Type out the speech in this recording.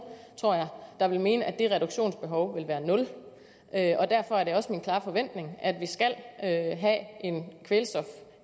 tror jeg der vil mene at det reduktionsbehov vil være nul og derfor er det også min klare forventning at vi skal have